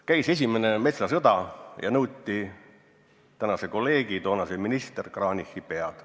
Käis esimene metsasõda ja nõuti meie tänase kolleegi, toonase ministri Kranichi pead.